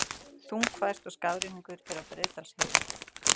Þungfært og skafrenningur er á Breiðdalsheiði